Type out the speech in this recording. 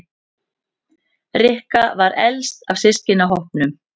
Rikka var elst af systkinahópnum.